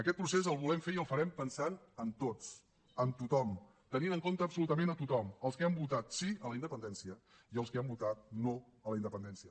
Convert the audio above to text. aquest procés el volem fer i el farem pensant en tots en tothom tenint en compte absolutament a tothom els que han votat sí a la independència i els que han votat no a la independència